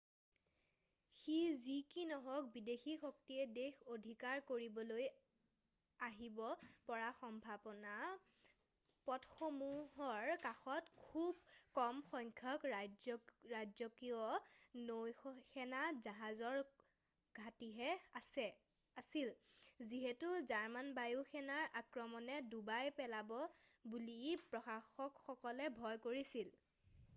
সি যি কি নহওক বিদেশী শক্তিয়ে দেশ অধিকাৰ কৰিবলৈ আহিব পৰা সম্ভৱপৰ পথসমূহৰ কাষত খুব কম সংখ্যক ৰাজকীয় নৌসেনা জাহাজৰ ঘাটিহে আছিল যিহেতু জাৰ্মান বায়ু সেনাৰ আক্ৰমণে ডুবাই পেলাব বুলি প্ৰশাসকসকলে ভয় কৰিছিল